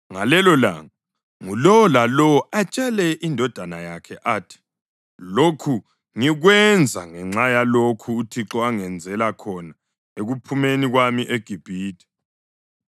Ngalelolanga ngulowo lalowo atshele indodana yakhe athi, ‘Lokhu ngikwenza ngenxa yalokho uThixo angenzela khona ekuphumeni kwami eGibhithe.’